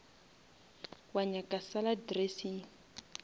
wa nyaka salad dressing